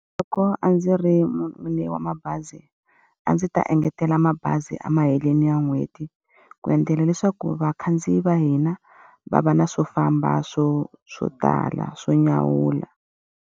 Loko a ndzi ri n'winyi wa mabazi, a ndzi ta engetela mabazi emahelweni ya n'hweti. Ku endlela leswaku vakhandziyi va hina va va na swo famba swo swo tala swo nyawula.